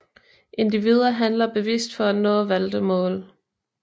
Individer handler bevidst for at nå valgte mål